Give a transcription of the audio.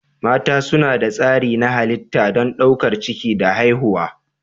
Mata suna da tsari na halitta don ɗaukar ciki da haihuwa.